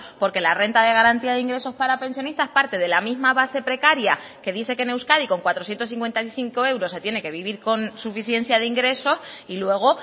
porque la renta de garantía de ingresos para pensionistas parte de la misma base precaria que dice que en euskadi con cuatrocientos cincuenta y cinco euros se tiene que vivir con suficiencia de ingresos y luego